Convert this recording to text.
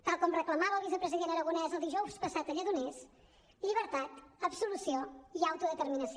tal com reclamava el vicepresident aragonés el dijous passat a lledoners llibertat absolució i autodeterminació